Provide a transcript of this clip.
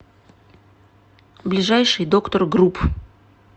ближайший доктор груп